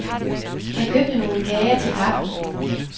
Han købte nogle kager til kaffen.